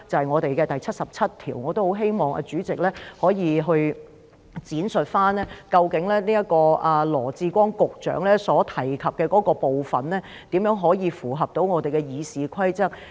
我亦希望主席可以闡述，究竟羅致光局長所提及的這個部分，如何符合我們的《議事規則》。